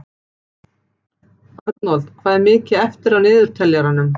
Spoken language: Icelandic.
Arnold, hvað er mikið eftir af niðurteljaranum?